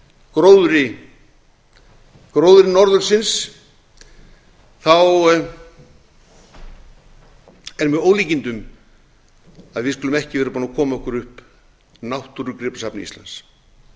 gróðri gróðri norðursins er með ólíkindum að við skulum ekki vera búin að koma okkur upp náttúrugripasafni íslands